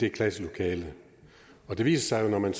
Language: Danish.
et klasselokale og det viste sig at når man